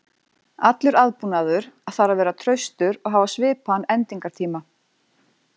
Allur búnaður þarf að vera traustur og hafa svipaðan endingartíma.